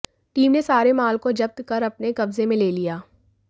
team ने सारे माल को जब्त कर अपने कब्जे में ले लिया